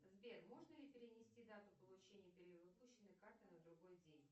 сбер можно ли перенести дату получения перевыпущенной карты на другой день